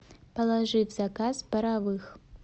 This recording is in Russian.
положи в заказ паровых